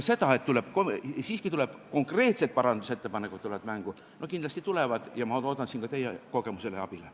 Kindlasti tulevad konkreetsed parandusettepanekud mängu ja ma loodan siin ka teie kogemusele ja abile.